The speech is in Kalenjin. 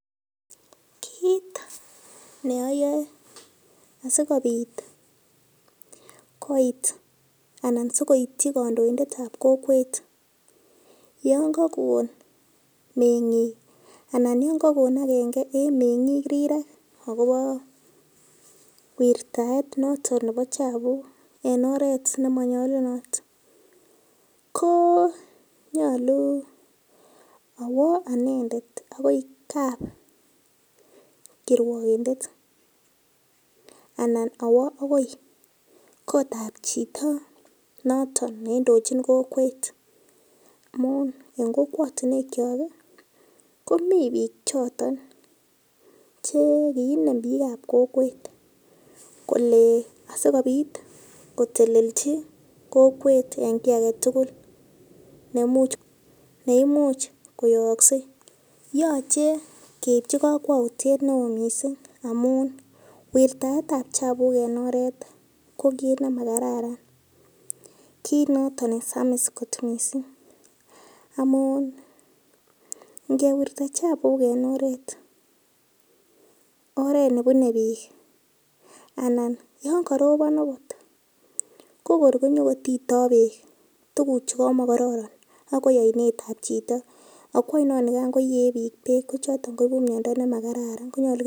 Kiit neayae asikopit koit anan sikoitchi kandoindet ap kokwet yon kakon meng'ik anan yon kakon akenge eng meng'ik rirek akopo wirtaet noto nepo chapuk eng oret nemanyalunot ko nyolu awa anendet akoi kap kirwogindet anan awo akoi koot ap chito noton neindochin kokwet amun eng kokwotunwek cho komi piik choton che kiinem piik ap kokwet kole asikopit kotelelchi kokweet eng kiy agetugul neimuch koyooksei yochei keipchi kokwoutiet neo mising amun wirtaet ap chapuk eng oret ko kiit nemakarara kiit noto nesamis kot mising amun ngewirta chapuk eng oret nepunei piik anan yo karopon akot ko kor konyokotitin peek tukuchu komokororo akoi oinet ap chito akoi oinonikan yekangoen piik peek kochoton koipu miondo nemakararan